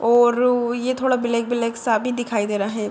और ये थोड़ा ब्लैक ब्लैक सा भी दिखाई दे रहा है।